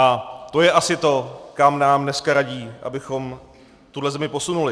A to je asi to, kam nám dneska radí, abychom tuhle zemi posunuli.